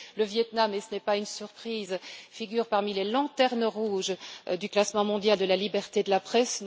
Le Viêt Nam, et ce n'est pas une surprise, figure parmi les lanternes rouges du classement mondial de la liberté de la presse.